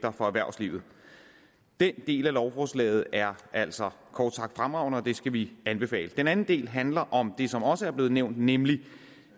for erhvervslivet den del af lovforslaget er altså kort sagt fremragende og det skal vi anbefale den anden del handler om det som også er blevet nævnt nemlig